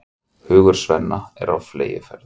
Hugur Svenna er á fleygiferð.